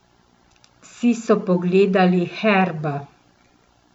Vsi so pogledali Herba.